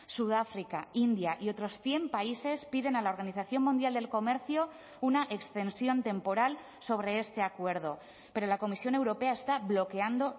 sudáfrica india y otros cien países piden a la organización mundial del comercio una extensión temporal sobre este acuerdo pero la comisión europea está bloqueando